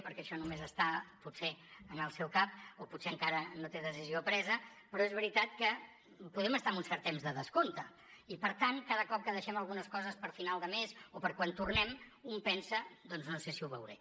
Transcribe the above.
perquè això només està potser en el seu cap o potser encara no té decisió presa però és veritat que podem estar en un cert temps de descompte i per tant cada cop que deixem algunes coses per a final de mes o per quan tornem un pensa doncs no sé si ho veuré